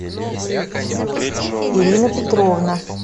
ирина петровна